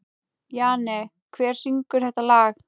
Jane, hver syngur þetta lag?